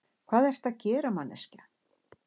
Hvað ertu að gera, manneskja?